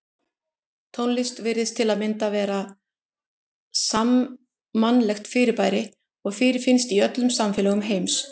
Tónlist virðist til að mynda vera sammannlegt fyrirbæri og fyrirfinnst í öllum samfélögum heims.